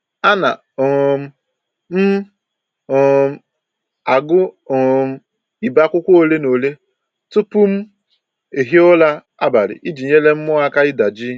Ana um m um agụ um ibe akwụkwọ ole na ole tupu m hie ụra abalị iji nyere mmụọ aka ịda jii